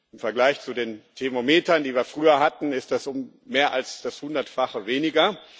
Im Vergleich zu den Thermometern, die wir früher hatten, ist das um mehr als das Hundertfache weniger.